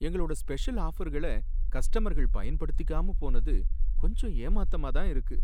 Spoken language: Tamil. எங்களோட ஸ்பெஷல் ஆஃபர்கள கஸ்டமர்கள் பயன்படுத்திக்காம போனது கொஞ்சம் ஏமாத்தமா இருக்கு.